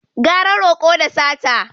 Gara roƙo da sata